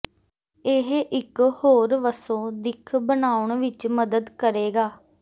ਇਹ ਇੱਕ ਹੋਰ ਵੱਸੋ ਦਿੱਖ ਬਣਾਉਣ ਵਿੱਚ ਮਦਦ ਕਰੇਗਾ